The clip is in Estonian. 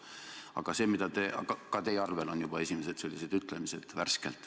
Aga ka teie arvel on juba värskelt esimesed sellised ütlemised.